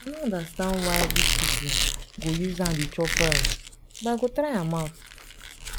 i no understand why dis people go use hand dey chop rice but i go try am out